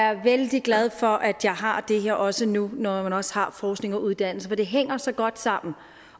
er vældig glad for at jeg har det her også nu når jeg også har forskning og uddannelse for det hænger så godt sammen